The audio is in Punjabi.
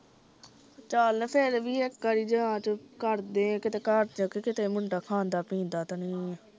ਚਲ ਫਿਰ ਵੀ ਇੱਕ ਵਾਰ ਜਾਂਚ ਕਰਦੇ ਕਿਤੇ ਘਰ ਜਾਕੇ ਕਿਤੇ ਮੁੰਡਾ ਖਾਂਦਾ ਪੀਂਦਾ ਤਾਂ ਨੀ